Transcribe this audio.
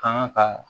Kan ka